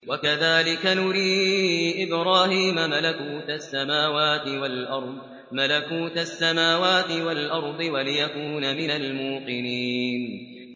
وَكَذَٰلِكَ نُرِي إِبْرَاهِيمَ مَلَكُوتَ السَّمَاوَاتِ وَالْأَرْضِ وَلِيَكُونَ مِنَ الْمُوقِنِينَ